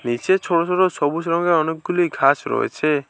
নীচে ছোট ছোট সবুজ রঙের অনেকগুলি ঘাস রয়েছে।